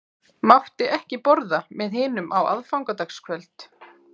Mátti ekki borða með hinum á aðfangadagskvöld.